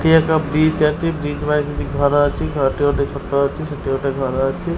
ଏଠି ଏକ ବ୍ରିଜ ଅଛି ବ୍ରିଜ ପାଖରେ କିଛି ଘର ଅଛି ଏଠି ଗୋଟେ ଛୋଟ ଅଛି ସେଠି ଗୋଟେ ଘର ଅଛି।